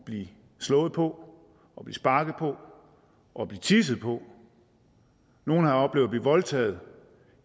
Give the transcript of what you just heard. blive slået på sparket på og blive tisset på nogle har oplevet at blive voldtaget